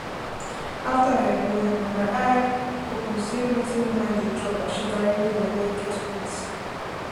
after after i born na my eye open say wetin woman dey chop as she carry belle get weight